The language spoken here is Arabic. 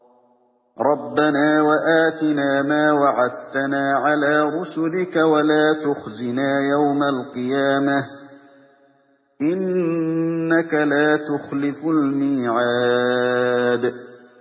رَبَّنَا وَآتِنَا مَا وَعَدتَّنَا عَلَىٰ رُسُلِكَ وَلَا تُخْزِنَا يَوْمَ الْقِيَامَةِ ۗ إِنَّكَ لَا تُخْلِفُ الْمِيعَادَ